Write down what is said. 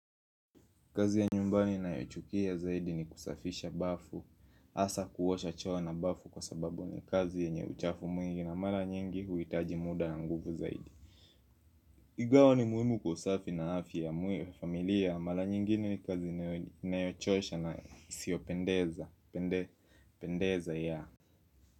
Kazi ya nyumbani nayochukia zaidi ni kusafisha bafu hasa kuosha choo na bafu kwa sababu ni kazi yenye uchafu mwingi na mara nyingi huhitaji muda na nguvu zaidi. Ingawa ni muhimu kwa usafi na afya ya familia mara nyingi ni kazi inayochosha na isiyopendeza.